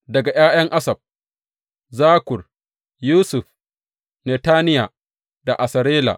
Daga ’ya’yan Asaf, Zakkur, Yusuf, Netaniya da Asarela.